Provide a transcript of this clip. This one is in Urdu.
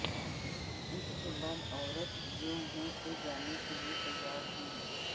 اس کے بعد عورت جوہو سے جانے کے لئے تیار ہوئی